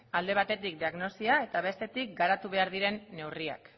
alde batetik diagnosia eta bestetik garatu behar diren neurriak